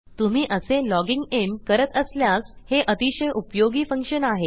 तुम्ही असे logging in करत असल्यास हे अतिशय उपयोगी फंक्शन आहे